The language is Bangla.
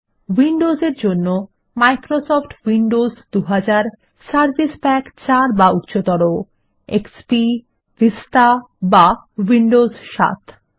উইন্ডোজ এর জন্য মাইক্রোসফট উইন্ডোজ 2000 সার্ভিস প্যাক 4 বা উচ্চতর এক্সপি ভিস্তা বা উইন্ডোজ 7